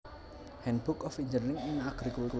handbook of engineering in agriculture